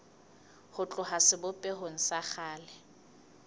ho tloha sebopehong sa kgale